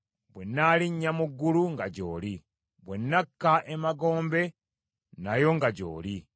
Bwe nnaalinya mu ggulu, nga gy’oli; bwe nnakka emagombe, nayo nga gy’oli.